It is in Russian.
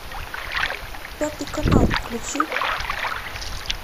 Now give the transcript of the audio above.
пятый канал включи